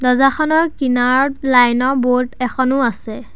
দৰ্জাখনৰ কিনাৰত লাইন ৰ বৰ্ড এখনো আছে।